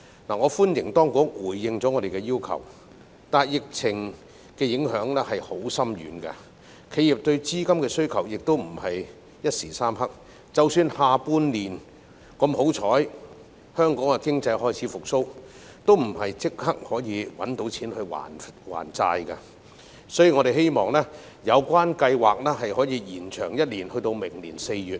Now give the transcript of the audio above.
我歡迎當局回應我們的要求，但疫情的影響非常深遠，而且企業對資金的需求亦非一時三刻，即使下半年香港經濟幸運地開始復蘇，也不會立即有錢還債，所以我們希望有關計劃可以延長1年至明年4月。